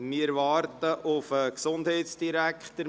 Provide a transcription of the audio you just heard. Wir warten auf den Gesundheitsdirektor.